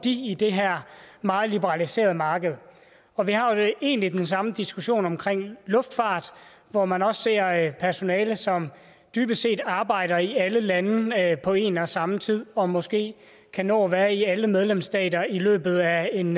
i det her meget liberaliserede marked og vi har egentlig den samme diskussion omkring luftfart hvor man også ser personale som dybest set arbejder i alle lande på en og samme tid og måske kan nå at være i alle medlemsstater i løbet af en